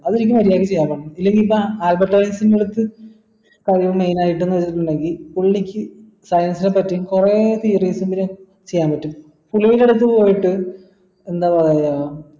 അതെനിക്ക് മര്യാദയ്ക്ക് ചെയ്യാൻ പറ്റണം ഇല്ലെങ്കി ഇപ്പൊ ആൽബർട്ട് ഐൻസ്റ്റന്റ് അടുത്ത് കഴിവ് main ആയിട്ടെന്ന് പറയുന്നത് പുള്ളിക്ക് science നെ പറ്റി കൊറേ theories പിന്നെ ചെയ്യാൻ പറ്റും പുള്ളിയുടെ അടുത്ത് പോയിട്ട് എന്താ ഏർ